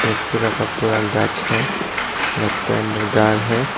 पूरा का पूरा गाछ है गाछ के अंदर घर है।